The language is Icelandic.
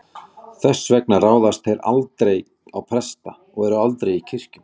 Þess vegna ráðast þeir aldrei á presta og eru aldrei í kirkjum.